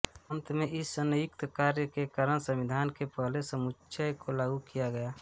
अंत में इस संयुक्त कार्य के कारण संविधान के पहले समूच्चय को लागू किया गया